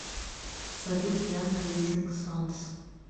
салют янг ризинг сонс